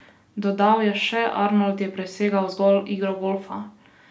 Dodal je še: "Arnold je presegal zgolj igro golfa.